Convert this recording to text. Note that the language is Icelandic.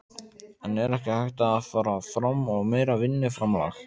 En er ekki hægt að fara fram á meira vinnuframlag?